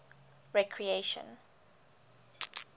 recreation